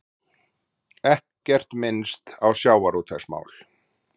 Ekkert minnst á sjávarútvegsmál